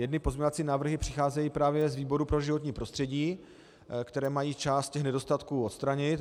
Jedny pozměňovací návrhy přicházejí právě z výboru pro životní prostředí, které mají část těch nedostatků odstranit.